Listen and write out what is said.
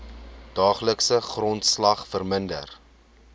daaglikse grondslag verminder